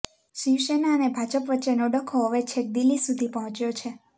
શિવસેના અને ભાજપ વચ્ચેનો ડખો હવે છેક દિલ્હી સુધી પહોંચ્યો છે